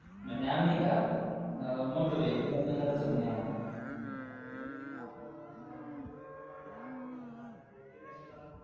म्हणे आम्ही का मोठं VIP लग्न करायचय म्हणे आम्हाला अरे बावड्या हो म्हणा जेवढ य तेवढ गया आटपून म्हणा भेटली नशिबानं कुठून